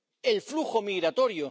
del flujo migratorio.